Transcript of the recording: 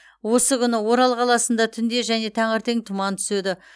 осы күні орал қаласында түнде және таңертең тұман түседі